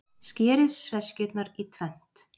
Skerið sveskjurnar í tvennt.